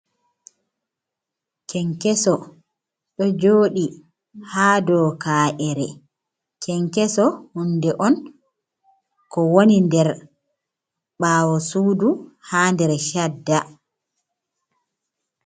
Kenkeso ɗo joɗi haa dow ka’ere. Kenkeso hunde on ko woni nder ɓaawo suudu haa nder cadda.